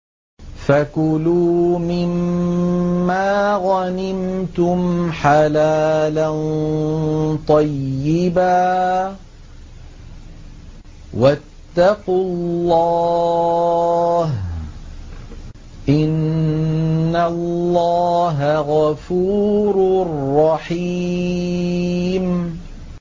فَكُلُوا مِمَّا غَنِمْتُمْ حَلَالًا طَيِّبًا ۚ وَاتَّقُوا اللَّهَ ۚ إِنَّ اللَّهَ غَفُورٌ رَّحِيمٌ